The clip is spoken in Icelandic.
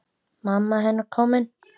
Mamma hennar komin.